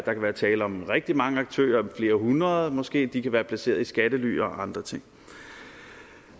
tale om rigtig mange aktører flere hundrede måske de kan være placeret i skattely og andre ting